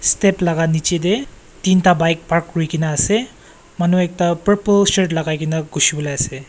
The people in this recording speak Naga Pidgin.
step laka niche de tinta bike park kuri kina ase manu ekta purple shirt lagai kina gushivolae ase.